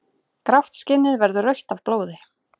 Grátt skinnið verður rautt af blóði.